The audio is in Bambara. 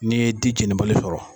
N'i ye di jeni bali sɔrɔ.